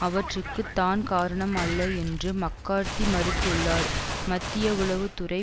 அவற்றிற்கு தான் காரணம் அல்ல என்றும் மக்கார்த்தி மறுத்துள்ளார் மத்திய உளவு துறை